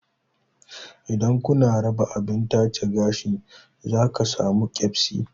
Idan kuna raba abin tace gashi za ka samu keɓsi